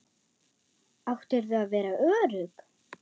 Áttirðu að vera örugg?